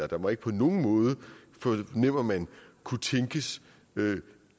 der må ikke på nogen måde fornemmer man kunne tænkes